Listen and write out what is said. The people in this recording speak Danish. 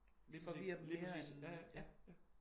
Lige præcis lige præcis ja ja ja ja ja